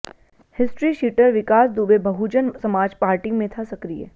history sheeter Vikas Dubey Bahujan Samaj party में था सक्रिय